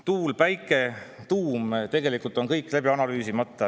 Tuule‑, päikese‑, tuuma tegelikult on kõik läbi analüüsimata.